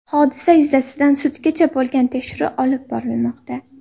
Hodisa yuzasidan sudgacha bo‘lgan tekshiruv olib borilmoqda.